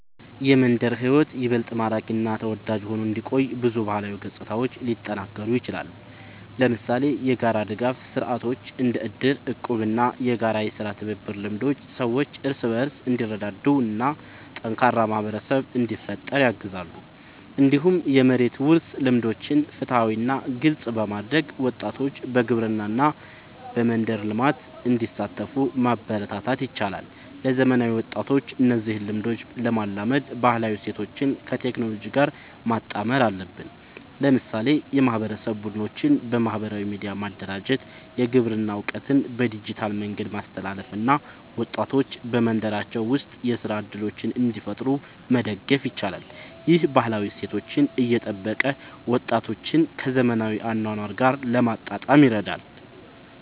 የመንደር ሕይወት ይበልጥ ማራኪ እና ተወዳጅ ሆኖ እንዲቆይ ብዙ ባህላዊ ገጽታዎች ሊጠናከሩ ይችላሉ። ለምሳሌ የጋራ ድጋፍ ስርዓቶች እንደ እድር፣ እቁብ እና የጋራ የሥራ ትብብር ልምዶች ሰዎች እርስ በርስ እንዲረዳዱ እና ጠንካራ ማህበረሰብ እንዲፈጠር ያግዛሉ። እንዲሁም የመሬት ውርስ ልምዶችን ፍትሃዊ እና ግልጽ በማድረግ ወጣቶች በግብርና እና በመንደር ልማት እንዲሳተፉ ማበረታታት ይቻላል። ለዘመናዊ ወጣቶች እነዚህን ልምዶች ለማላመድ ባህላዊ እሴቶችን ከቴክኖሎጂ ጋር ማጣመር አለብን። ለምሳሌ የማህበረሰብ ቡድኖችን በማህበራዊ ሚዲያ ማደራጀት፣ የግብርና እውቀትን በዲጂታል መንገድ ማስተላለፍ እና ወጣቶች በመንደራቸው ውስጥ የሥራ እድሎችን እንዲፈጥሩ መደገፍ ይቻላል። ይህ ባህላዊ እሴቶችን እየጠበቀ ወጣቶችን ከዘመናዊ አኗኗር ጋር ለማጣጣም ይረዳል።